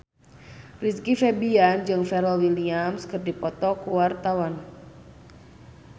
Rizky Febian jeung Pharrell Williams keur dipoto ku wartawan